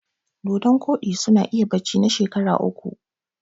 Dodon ƙodi suna iya barci na shekara uku